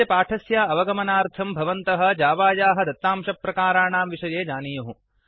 एतस्य पाठस्य अवगमनार्थं भवन्तः जावायाः दत्तांशप्रकाराणां विषये जानीयुः